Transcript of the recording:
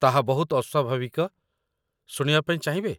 ତାହା ବହୁତ ଅସ୍ୱାଭାବିକ, ଶୁଣିବା ପାଇଁ ଚାହିଁବେ ?